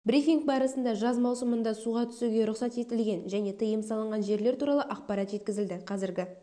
брифинг барысында жаз маусымында суға түсуге рұқсат етілген және тыйым салынған жерлер туралы ақпарат жеткізілді қазіргі